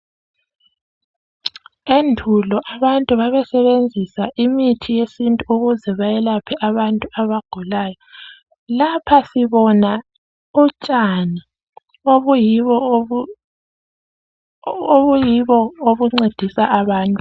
Endulo abantu babe sebenzisa imithi yesintu ukuze bayelaphe abantu abagulayo lapha sibona utshani obuyibo obuncedisa abantu.